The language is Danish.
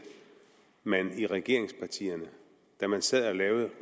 man i regeringspartierne da man sad og lavede